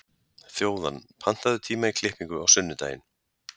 Þjóðann, pantaðu tíma í klippingu á sunnudaginn.